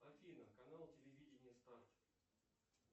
афина канал телевидения старт